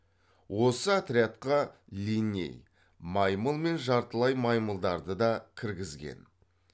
осы отрядқа линней маймыл мен жартылай маймылдарды да кіргізген